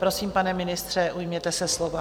Prosím, pane ministře, ujměte se slova.